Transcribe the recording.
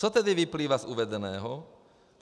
Co tedy vyplývá z uvedeného?